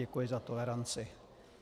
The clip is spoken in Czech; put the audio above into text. Děkuji za toleranci.